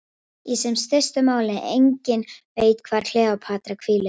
Í sem stystu máli: enginn veit hvar Kleópatra hvílir.